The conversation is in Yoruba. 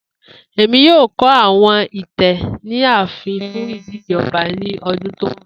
Emi yoo kọ awọn itẹ ni aafin fun idile ọba ni ọdun ti n bọ.